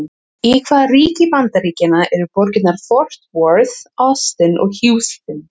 Í hvaða ríki Bandaríkjanna eru borgirnar Fort Worth, Austin og Houston?